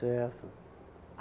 Certo.